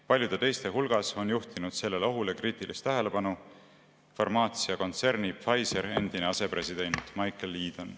Paljude teiste hulgas on juhtinud sellele ohule kriitilist tähelepanu farmaatsiakontserni Pfizer endine asepresident Michael Yeadon.